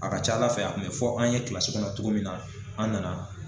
A ka ca Ala fɛ , a kun bi fɔ an ye kɔnɔ cogo min na an nana